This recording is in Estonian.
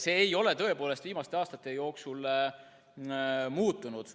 See ei ole tõepoolest viimaste aastate jooksul muutunud.